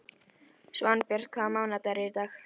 Svanbjört, hvaða mánaðardagur er í dag?